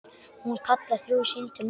Hún kallar þrjú símtöl mörg.